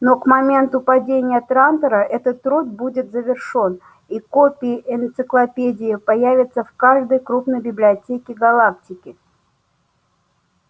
но к моменту падения трантора этот труд будет завершён и копии энциклопедии появятся в каждой крупной библиотеке галактики